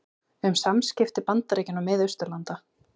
Um samskipti Bandaríkjanna og Mið-Austurlanda